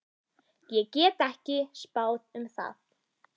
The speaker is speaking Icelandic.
Ég get ekki spáð um það.